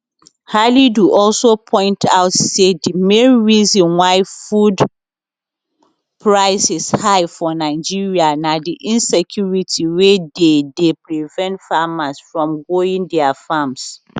halidu also point out say di main reason why food prices high for nigeria na di insecurity wey dey dey prevent farmers from going dia farms